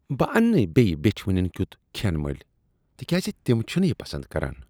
بہٕ اننہٕ نہٕ بیٚیہ بیٚچھ وٕنیٚن کیُت کھین مٔلۍ تکیاز تم چھنہٕ یہ پسند کران۔